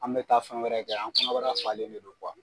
An bɛ taa fɛn wɛrɛ kɛ an kɔnɔnbara falen de do